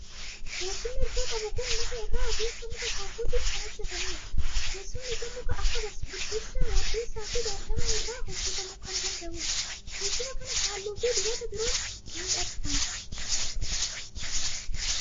Teessumni hirkoo qabu kun muka irraa ogeessa muka soofuutiin kan hojjetamudha. Teessumni kun muka akka birbirsaa, waddeessaa fi baargamoo irraa hojjetamuu kan danda'udha. Teessuma kana halluu fi dibata biroon miidhagfama.